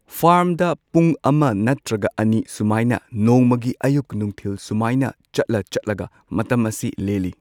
ꯐꯥꯔꯝꯗ ꯄꯨꯡ ꯑꯃ ꯅꯠꯇ꯭ꯔꯒ ꯑꯅꯤ ꯁꯨꯃꯥꯏꯅ ꯅꯣꯡꯃꯒꯤ ꯑꯌꯨꯛ ꯅꯨꯡꯊꯤꯜ ꯁꯨꯃꯥꯏꯅ ꯆꯠꯂ ꯆꯠꯂꯒ ꯃꯇꯝ ꯑꯁꯤ ꯂꯦꯜꯂꯤ꯫